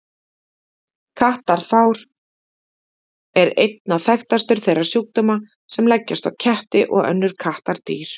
Kattafár er einna þekktastur þeirra sjúkdóma sem leggjast á ketti og önnur kattardýr.